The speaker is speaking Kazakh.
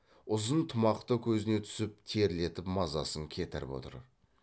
ұзын тымақ та көзіне түсіп терлетіп мазасын кетіріп отыр